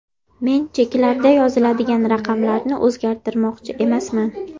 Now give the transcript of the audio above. Men cheklarda yoziladigan raqamlarni o‘zgartirmoqchi emasman.